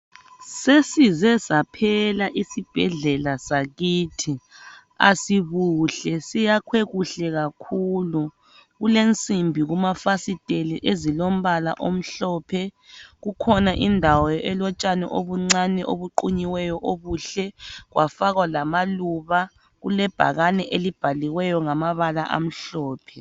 Sesize saphela isibhedlela sakithi asibuhle, siyakhwe kuhle kakhulu kulensimbi kumafasiteli ezilombala omhlophe. Kukhona indawo elotshani obuncane obuqunyiweyo obuhle kwafakwa lamaluba. Kulebhakani elibhaliweyo ngamabala amhlophe.